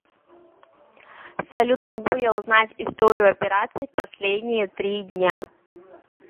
салют могу я узнать историю операций в последние три дня